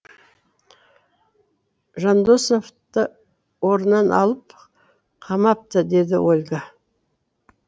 жандосовты орнынан алып қамапты деді ольга